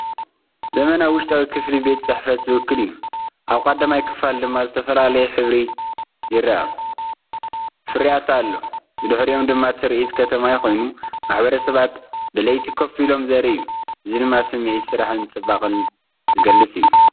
ዘመናዊ ውሽጣዊ ክፍሊ ቤት ጽሕፈት ዝውክል እዩ። ኣብ ቀዳማይ ክፋል ድማ ዝተፈላለየ ሕብሪ ይርአ። ፍርያት ኣለዉ ብድሕሪኦም ድማ ትርኢት ከተማ ኮይኑ፡ ማሕበረሰባት ብለይቲ ኮፍ ኢሎም ዘርኢ እዩ። እዚ ድማ ስምዒት ስራሕን ጽባቐን ዝገልጽ እዩ።